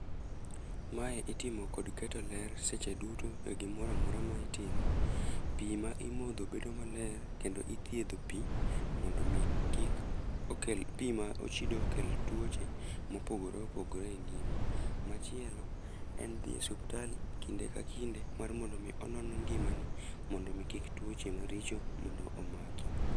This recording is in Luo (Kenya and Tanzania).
Mae itimo kod keto ler seche duto e gimoro amora ma itimo. Pi ma imodho bedo maler, kendo ithiedho pi mondo omi kik okel, pi ma ochido okel tuoche ma opogore opogore e ngima. Machielo en dhi e osiptal kinde ka kinde, mar mondo omi onon ngimani mondo kik tuoche maricho mondo omaki.